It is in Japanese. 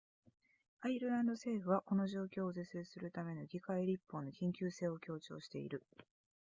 アイルランド政府はこの状況を是正するための議会立法の緊急性を強調している